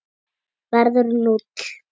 verður núll.